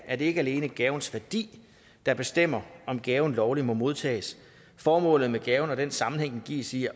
er det ikke alene gavens værdi der bestemmer om gaven lovligt må modtages formålet med gaven og den sammenhæng den gives i